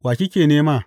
Wa kike nema?